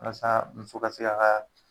Walasa muso ka se k'a kaa